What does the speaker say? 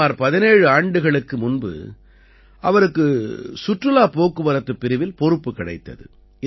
சுமார் 17 ஆண்டுகளுக்கு முன்பு அவருக்கு சுற்றுலாப் போக்குவரத்துப் பிரிவில் பொறுப்பு கிடைத்தது